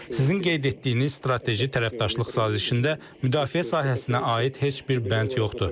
Sizin qeyd etdiyiniz strateji tərəfdaşlıq sazişində müdafiə sahəsinə aid heç bir bənd yoxdur.